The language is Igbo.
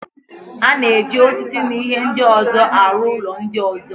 A na-eji osisi na ihe ndị ọzọ arụ ụlọ ndị ọzọ.